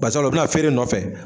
Basa u bɛna feere de nɔfɛ